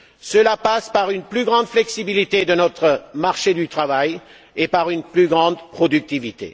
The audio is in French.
Cela passe aussi par une plus grande flexibilité de notre marché du travail et par une plus grande productivité.